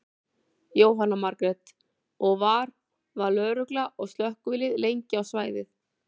Jóhanna Margrét: Og var, var lögregla og slökkvilið lengi á svæðið?